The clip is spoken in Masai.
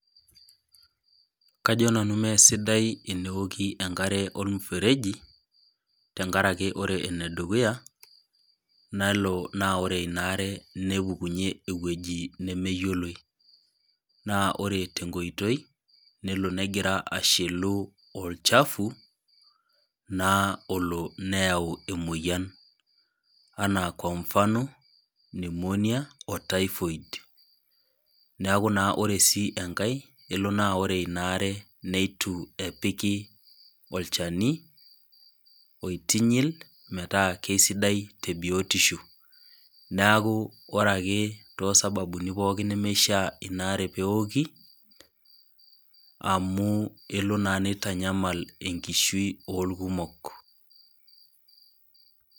Kajo nanu mmee sidai eneoki enkare ormufereji tenkaraki ore enedukuya nelo naa ore inaare nepukunyie ewueji nemeyioloi naa ore tenkoitoi nelo negira ashilu olchafu naa olo neyau emoyiani anaa kwa mfano pneumonia or typhoid, neaku naa ore sii enkae kelo naa ore ina aare neitu epiki olchani oitinyil metaa kesidai tebiotisho , neeku ore ake toosababuni pookin nemeishaa inaare neeoki amu elo naa nitanyamal enkishui orkumok.